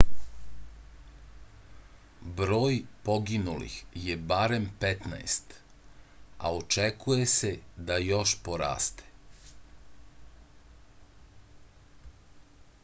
broj poginulih je barem 15 a očekuje se da još poraste